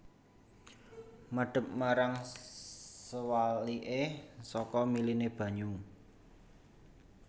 Madep marang sewaliké saka miliné banyu